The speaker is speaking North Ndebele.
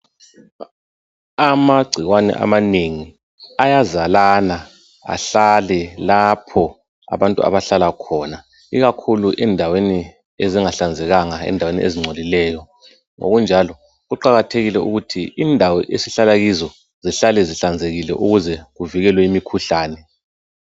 Amagcikwane amanengi ayazalana ahlale lapho abantu abahlala khona, ikukhulu endaweni ezingahlanzekanga, endaweni ezingcolileyo. Ngokunjalo, kuqakathekile ukuthi indawo esihlala kizo zihlale zihlanzekile ukuze kuvikelwe imikhuhlane.